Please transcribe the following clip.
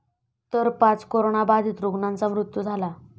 तर पाच करोनाबाधीत रुग्णांचा मृत्यू झाला.